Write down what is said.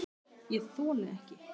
ÉG ÞOLI EKKI